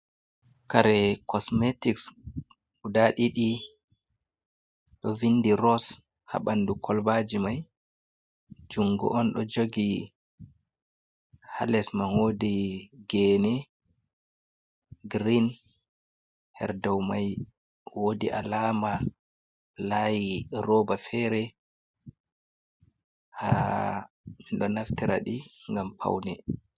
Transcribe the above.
Kare kosmetiks guda ɗiɗi, ɗo vindi ross haɓandu kolbaji mai, jungo on ɗo jogi halesman wodi gene girin, her dow mai wodi alama layiroba fere, ha minɗ naftira ɗi ngam paune.